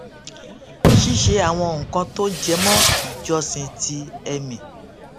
ṣíṣe àwọn nǹkan tó jẹmó ìjọsìn ti ẹmí